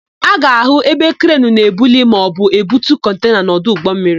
A ga-áhụ̀ ebe krenu na-ebuli maọbụ ebutu kọntena n'ọdụ ụgbọmmiri